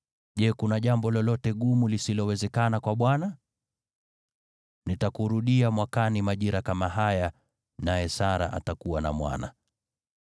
Je, kuna jambo lolote gumu lisilowezekana kwa Bwana ? Nitakurudia mwakani majira kama haya, naye Sara atakuwa na mwana.”